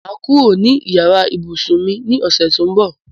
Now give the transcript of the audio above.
Máa kó kúrò ní yàrá ìbùsùn mi ní ọ̀sẹ̀ tó ń bọ̀.